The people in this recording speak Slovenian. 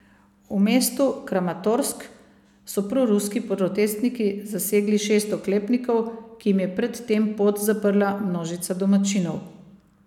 V mestu Kramatorsk so proruski protestniki zasegli šest oklepnikov, ki jim je pred tem pot zaprla množica domačinov.